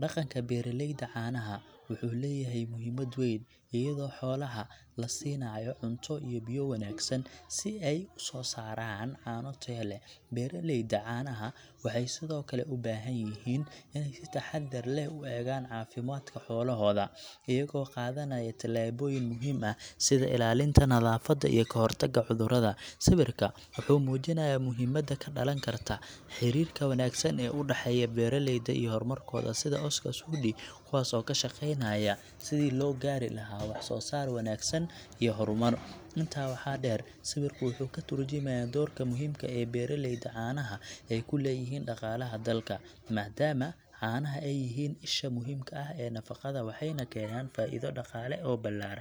Dhaqanka beeraleyda caanaha wuxuu leeyahay muhiimad weyn, iyadoo xoolaha la siinayo cunto iyo biyo wanaagsan si ay u soo saaraan caano tayo leh. Beeraleyda caanaha waxay sidoo kale u baahan yihiin inay si taxaddar leh u eegaan caafimaadka xoolahooda, iyagoo qaadanaya tallaabooyin muhiim ah sida ilaalinta nadaafadda iyo ka hortagga cudurrada. Sawirka wuxuu muujinayaa muhiimadda ka dhalan karta xiriirka wanaagsan ee u dhexeeya beeraleyda iyo hormarkooda sida Oscar Sudi, kuwaasoo ka shaqeynaya sidii loo gaari lahaa wax soo saar wanaagsan iyo horumar. Intaa waxaa dheer, sawirku wuxuu ka tarjumayaa doorka muhiimka ah ee beeraleyda caanaha ay ku leeyihiin dhaqaalaha dalka, maadaama caanaha ay yihiin isha muhiimka ah ee nafaqada, waxayna keenaan faa'iido dhaqaale oo ballaaran.